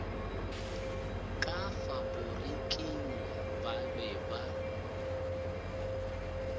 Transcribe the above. ka faporiking ba be ba